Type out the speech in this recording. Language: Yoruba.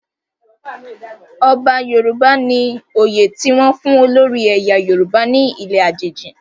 Ọba Yoruba ni oyè ti wọn fun olori ẹyà Yoruba ni ile ajeji